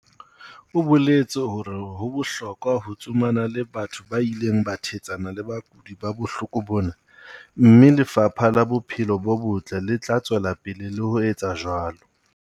O boletse hore ho bohlokwa ho tsomana le batho ba ileng ba thetsana le bakudi ba bohloko bona, mme Lefapha la Bophelo bo Botle le tla tswela pele le ho etsa jwalo.